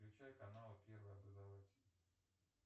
включай канал первый образовательный